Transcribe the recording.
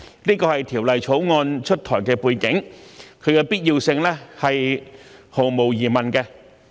這是《條例草案》出台的背景，其必要性是毫無疑問的。